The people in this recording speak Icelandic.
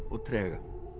trega